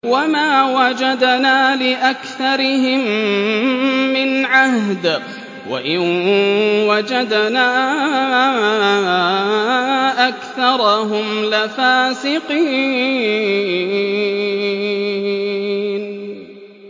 وَمَا وَجَدْنَا لِأَكْثَرِهِم مِّنْ عَهْدٍ ۖ وَإِن وَجَدْنَا أَكْثَرَهُمْ لَفَاسِقِينَ